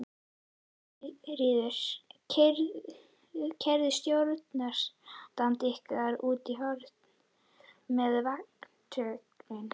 Sigríður: Keyrði stjórnarandstaðan ykkur út í horn með vatnalögin?